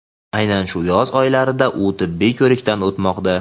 aynan shu yoz oylarida u tibbiy ko‘rikdan o‘tmoqda.